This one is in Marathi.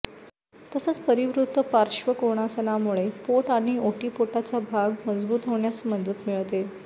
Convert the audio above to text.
तसंच परिवृत्त पार्श्वकोणासनामुळे पोट आणि ओटीपोटाचा भाग मजबूत होण्यास मदत मिळते